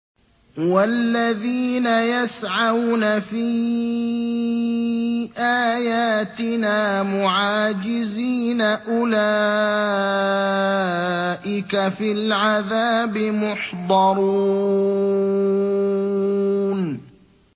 وَالَّذِينَ يَسْعَوْنَ فِي آيَاتِنَا مُعَاجِزِينَ أُولَٰئِكَ فِي الْعَذَابِ مُحْضَرُونَ